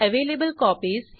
username Arya type करा